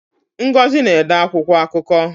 Ngozi na-ede akwụkwọ akụkọ.